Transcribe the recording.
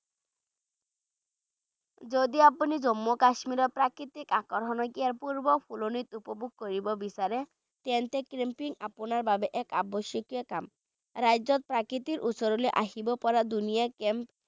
যদি আপুনি জম্মু কাশ্মীৰৰ প্ৰাকৃতিক আকৰ্ষণ ইয়াক অপূৰ্ব ফুলনিত উপভোগ কৰিব বিচাৰে তেন্তে camping আপোনাৰ বাবে এক আৱশ্যকীয় কাম ৰাজ্যত প্ৰকৃতিৰ ওচৰলৈ আহিব পৰা ধুনীয়া camp